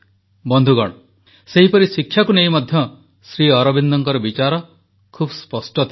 ବନ୍ଧୁଗଣ ସେହିପରି ଶିକ୍ଷାକୁ ନେଇ ମଧ୍ୟ ଶ୍ରୀଅରବିନ୍ଦଙ୍କ ବିଚାର ବହୁତ ସ୍ପଷ୍ଟ ଥିଲା